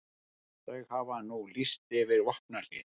Þau hafa nú lýst yfir vopnahléi